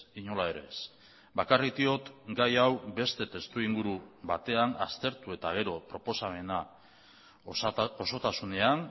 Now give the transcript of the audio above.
inola ere ez bakarrik diot gai hau beste testuinguru batean aztertu eta gero proposamena osotasunean